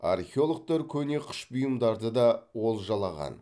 археологтар көне қыш бұйымдарды да олжалаған